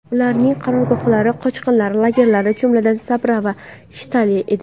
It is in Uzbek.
Ularning qarorgohlari qochqinlar lagerlari, jumladan, Sabra va Shatila edi.